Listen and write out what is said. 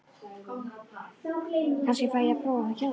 Kannski fæ ég að prófa það hjá þér!